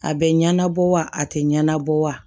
A bɛ ɲɛnabɔ wa a tɛ ɲɛnabɔ wa